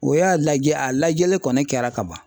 O y'a lajɛ a lajɛli kɔni kɛra ka ban.